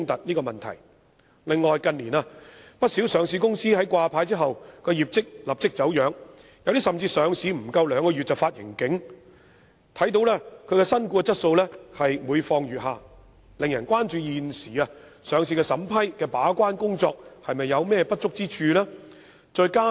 此外，不少上市公司近年在掛牌後業績便立即走樣，有些甚至在上市不足兩個月便發出盈警，顯示新股質素每況愈下，令人關注現時上市審批的把關工作是否有不足之處。